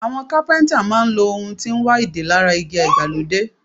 Àwọn Kápẹ́ńtà máa ń lo ohun tí ń wa ìdè lára igi ìgbàlódé.